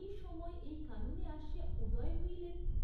এসময় এই কাননে আসিয়া উদয় হইলেন?